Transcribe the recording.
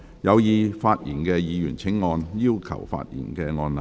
有意發言的議員請按"要求發言"按鈕。